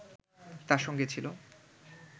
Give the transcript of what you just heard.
তার সঙ্গে ছিল